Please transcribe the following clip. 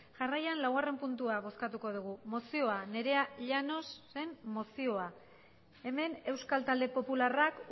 jarraian laugarren puntua bozkatuko dugu mozioa nerea llanosen mozioa hemen euskal talde popularrak